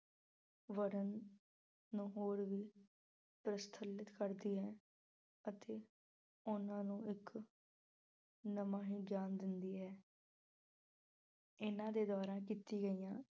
ਵਰਨ ਨੂੰ ਹੋਰ ਵੀ ਪ੍ਰਫੁਲਿਤ ਕਰਦੀ ਹੈ ਅਤੇ ਉਹਨਾਂ ਨੂੰ ਇੱਕ ਨਵਾਂ ਹੀ ਗਿਆਨ ਦਿੰਦੀ ਹੈ। ਇਹਨਾਂ ਦੇ ਦੁਆਰਾ ਕੀਤੀਆਂ ਗਈਆਂ